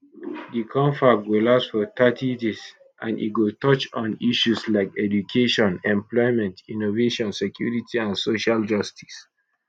di confab go last for thirty days and e go touch on issues like education employment innovation security and social justice